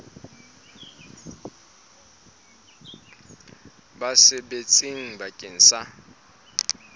ba sa sebetseng bakeng sa